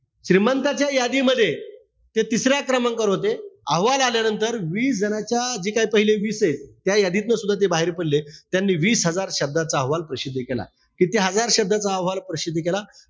श्रीमंतांच्या यादीमध्ये ते तिसऱ्या क्रमांकावर होते. अहवाल आल्यानंतर वीस जणांच्या जे काय पहिले विसे त्या यादीतन सुद्धा ते बाहेर पडले. आणि वीस हजार शब्दाचा अहवाल प्रसिद्ध केला. किती हजार शब्दाचा अहवाल प्रसिद्ध केला?